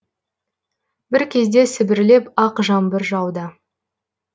бір кезде сібірлеп ақ жаңбыр жауды